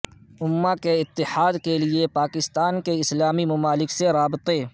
امہ کے اتحاد کے لیے پاکستان کے اسلامی ممالک سے رابطے